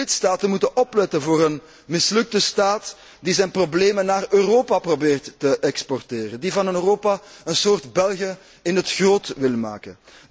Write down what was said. De lidstaten moeten opletten voor een mislukte staat die zijn problemen naar Europa probeert te exporteren, die van Europa een soort België in het groot wil maken.